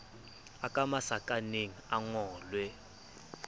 a ka masakaneng a ngolwe